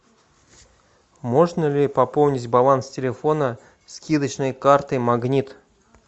можно ли пополнить баланс телефона скидочной картой магнит